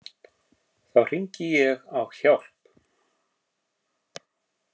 Þá hringdi ég á hjálp.